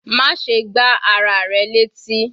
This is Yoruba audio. Má ṣe gbá ara rẹ létí.